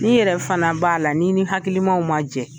Ni yɛrɛ fana b'a la n'i ni hakilimaaw man jɛ.